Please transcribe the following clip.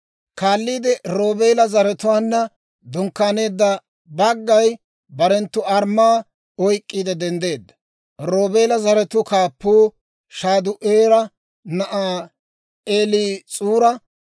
Kaalliide Roobeela zaratuwaanna dunkkaaneedda baggay barenttu armmaa oyk'k'iide denddeedda. Roobeela zaratuu kaappuu Shade'uura na'aa Eliis'uura;